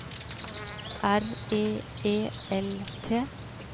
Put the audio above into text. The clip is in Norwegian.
R E E L T